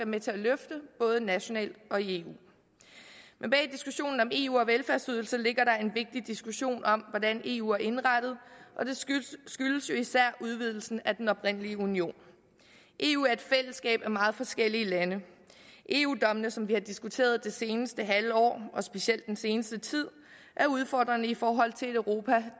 med til at løfte både nationalt og i eu men bag diskussionen om eu og velfærdsydelser ligger der en vigtig diskussion om hvordan eu er indrettet og det skyldes skyldes jo især udvidelsen af den oprindelige union eu er et fællesskab af meget forskellige lande eu dommene som vi har diskuteret det seneste halve år og specielt den seneste tid er udfordrende i forhold til et europa